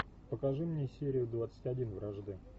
покажи мне серию двадцать один вражды